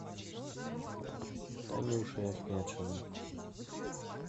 танюшей ахметшиной